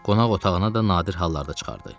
Qonaq otağına da nadir hallarda çıxardı.